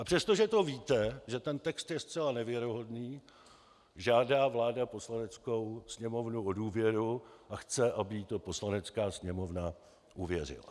A přestože to víte, že ten text je zcela nevěrohodný, žádá vláda Poslaneckou sněmovnu o důvěru a chce, aby jí to Poslanecká sněmovna uvěřila.